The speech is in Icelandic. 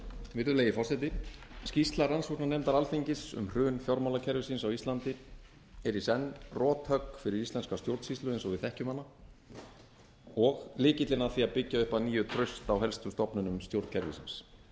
virðulegi forseti skýrsla rannsóknarnefndar alþingis um hrun fjármálakerfisins á íslandi er í senn rothögg fyrir íslenska stjórnsýslu eins og við þekkjum hana og lykillinn að því að byggja upp að nýju traust á helstu stofnunum stjórnkerfisins